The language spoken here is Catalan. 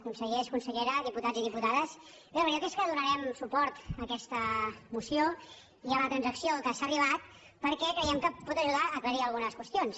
consellers i conselleres diputats i diputades bé la veritat és que donarem su·port a aquesta moció i a la transacció a què s’ha ar·ribat perquè creiem que pot ajudar a aclarir algunes qüestions